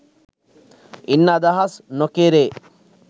ඉන් අදහස් නොකෙරේ.